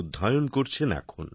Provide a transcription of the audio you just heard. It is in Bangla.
অধ্যয়ন করছেন এখন